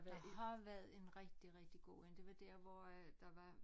Der har været et rigtig rigtig god én der var dér hvor øh der var